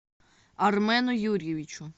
армену юрьевичу